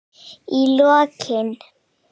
Í lokin.